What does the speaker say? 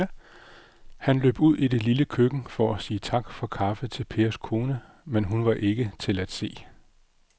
Han løb ud i det lille køkken for at sige tak for kaffe til Pers kone, men hun var ikke til at se.